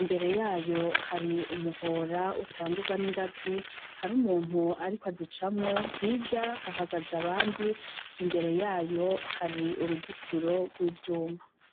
imbere yayo hari umuhora utangurwa n'ingazi, hari umuntu ariko azicamwo, hirya hahagaze abandi imbere yayo hari uruzitiro rw'ivyuma.